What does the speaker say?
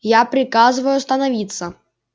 я приказываю остановиться